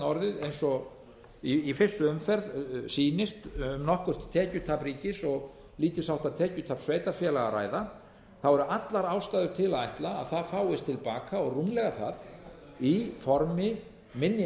orðið eins og í fyrstu umferð sýnist nokkurt tekjutap ríkis og lítilsháttar tekjutap sveitarfélaga að ræða eru allar ástæður til að ætla að það fáist til baka og rúmlega það í formi minni